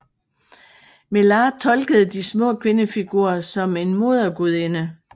Mellaart tolkede de små kvindefigurer som en modergudinde